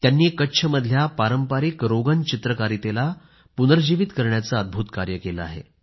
त्यांनी कच्छमधल्या पारंपरिक रोगन चित्रकारीतेला पुनर्जीवित करण्याचं अद्भूत कार्य केलं आहे